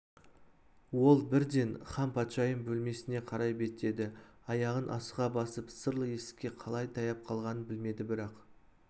ол бірден ханпатшайым бөлмесіне қарай беттеді аяғын асыға басып сырлы есікке қалай таяп қалғанын білмеді бірақ